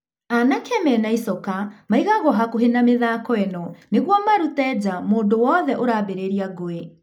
Anake mena icoka maigagũo hakuhĩ na mĩthako ĩno nĩguo marute njaa mũndũ wothe ũrambĩrĩria ngũĩ.